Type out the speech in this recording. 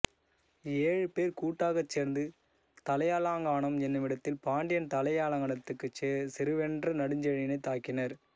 ஏழுபேர் கூட்டாகச் சேர்ந்து தலையாலங்கானம் என்னுமிடத்தில் பாண்டியன் தலையாலங்கானத்துச் செருவென்ற நெடுஞ்செழியனைத் தாக்கினர்